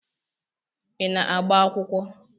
Ị na-agba akwụkwọ?